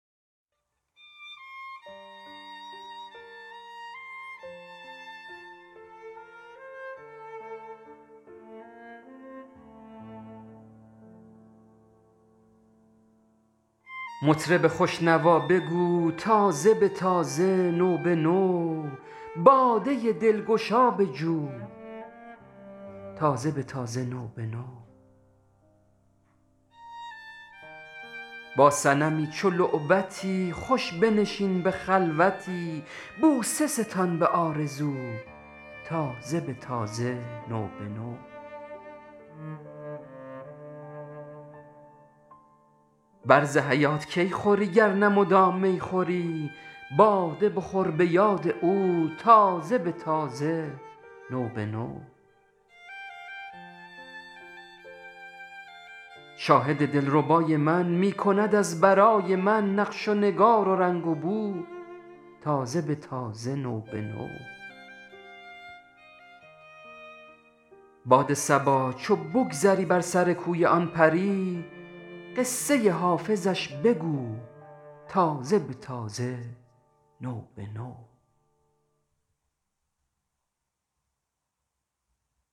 مطرب خوش نوا بگو تازه به تازه نو به نو باده دلگشا بجو تازه به تازه نو به نو با صنمی چو لعبتی خوش بنشین به خلوتی بوسه ستان به آرزو تازه به تازه نو به نو بر ز حیات کی خوری گر نه مدام می خوری باده بخور به یاد او تازه به تازه نو به نو شاهد دلربای من می کند از برای من نقش و نگار و رنگ و بو تازه به تازه نو به نو باد صبا چو بگذری بر سر کوی آن پری قصه حافظش بگو تازه به تازه نو به نو